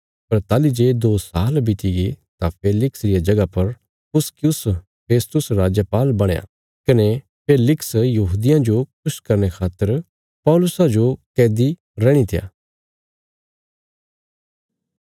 पर ताहली जे दो साल बितिगे तां फेलिक्स रिया जगह पर पुसकियुस फेस्तुस राजपाल बणया कने फेलिक्स यहूदियां जो खुश करने खातर पौलुसा जो कैदी रणी त्या